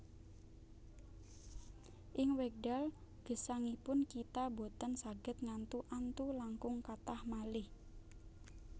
Ing wekdal gesangipun kita boten saged ngantu antu langkung kathah malih